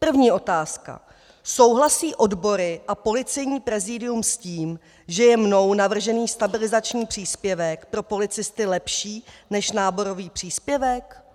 První otázka: Souhlasí odbory a Policejní prezídium s tím, že je mnou navržený stabilizační příspěvek pro policisty lepší než náborový příspěvek?